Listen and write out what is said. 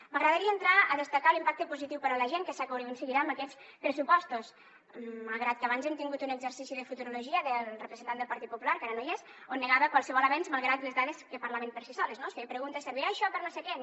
m’agradaria entrar a destacar l’impacte positiu per a la gent que s’aconseguirà amb aquests pressupostos malgrat que abans hem tingut un exercici de futurologia del representant del partit popular que ara no hi és on negava qualsevol avenç malgrat les dades que parlaven per si soles no es feia preguntes servirà això per a no sé què no